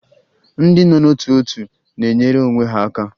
Ndị nọ n'ótù òtù na-enyere onwe ha aka